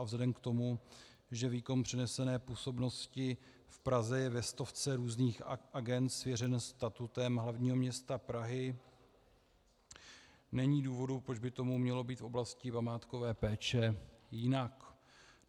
A vzhledem k tomu, že výkon přenesené působnosti v Praze je ve stovce různých agend svěřen statutem hlavního města Prahy, není důvodu, proč by tomu mělo být v oblasti památkové péče jinak.